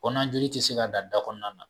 Kɔnɔna joli tɛ se ka dan dakɔnɔna na